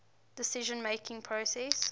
decision making process